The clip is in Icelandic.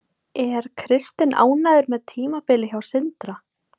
Er Kristinn ánægður með tímabilið hjá Sindra?